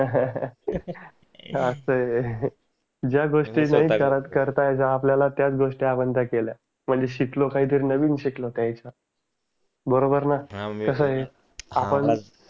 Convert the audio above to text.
असआहे ज्या गोष्टी नाही करता यायच्या त्याच गोष्टी आपण त्या केल्या म्हणजे शिकलो काही नवीन शिकलो काहीच बरोबर न कस आहे आपण